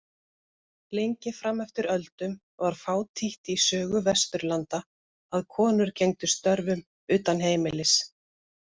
Lengi fram eftir öldum var fátítt í sögu Vesturlanda að konur gegndu störfum utan heimilis.